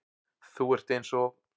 Þú ert eins og